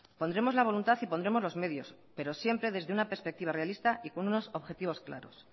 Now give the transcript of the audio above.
pondremos la voluntad y pondremos los medios pero siempre desde una perspectiva realista y con unos objetivos claros